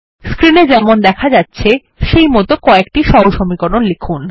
screen এ যেমন দেখা যাচ্ছে সেইমত কয়েকটি সহসমীকরণ লিখুন